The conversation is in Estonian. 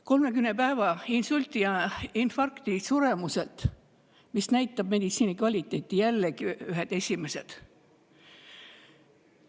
Suremuse poolest insulti ja infarkti 30 päeva jooksul, mis näitab meditsiini kvaliteeti – jällegi ühed esimesed.